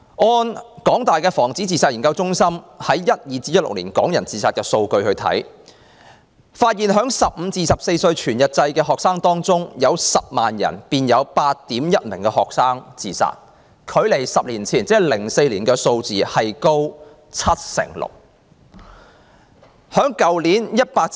按香港大學防止自殺研究中心所搜集2012年至2016年港人自殺的數據來看，在15歲至24歲全日制學生中，每 100,000 萬人便有 8.1 名學生自殺，較10年前的數字高出 76%。